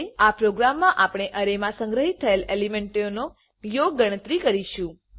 આ પ્રોગ્રામ માં આપણે અરેમાં સંગ્રહિત થયેલ એલીમેન્ટોનો યોગ ગણતરી કરીશું